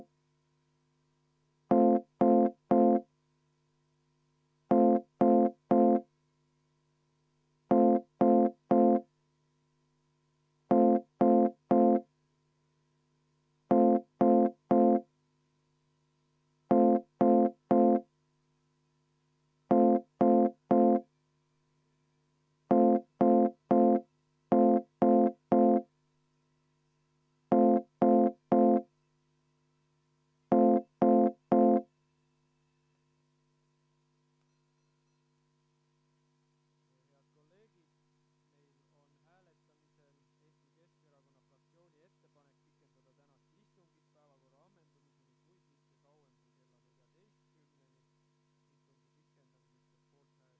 Austatud juhataja!